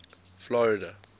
florida